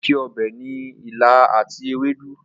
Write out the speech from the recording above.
Orísìí ọbẹ̀ ni ilá àti ewédú.